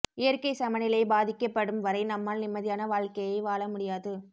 இயற்கைச் சமநிலை பாதிக்கப்படும் வரை நம்மால் நிம்மதியான வாழ்க்கையை வாழ முடியாது